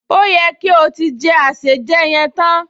Ó yẹ kí o ti jẹ àsèjẹ yẹn tán